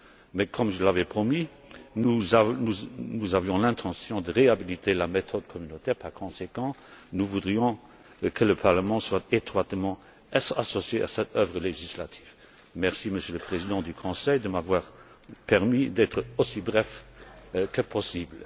Mais comme je l'avais promis, nous avions l'intention de réhabiliter la méthode communautaire. Par conséquent, nous voudrions que le Parlement soit étroitement associé à cette œuvre législative. Merci, Monsieur le Président du Conseil, de m'avoir permis d'être aussi bref que possible.